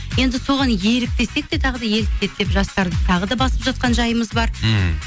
енді соған еліктесек те тағы да еліктеді деп жастарды тағы да басып жатқан жайымыз бар мхм